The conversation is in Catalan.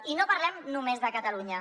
i no parlem només de catalunya